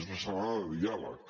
és una setmana de diàleg